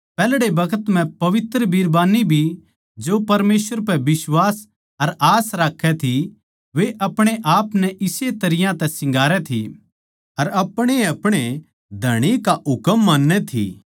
पैहल्ड़े बखत म्ह पवित्र बिरबान्नी भी जो परमेसवर पै बिश्वास अर आस राक्खै थी वे अपणे आपनै नै इस्से तरियां तै सिंगारै थी अर अपणेअपणे धणी का हुकम मान्नै थी